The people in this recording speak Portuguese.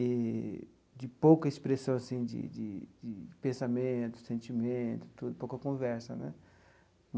eee de pouca expressão assim de de de pensamento, sentimento tudo, pouca conversa né.